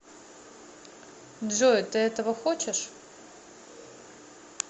джой ты этого хочешь